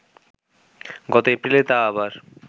গত এপ্রিলে তা আবার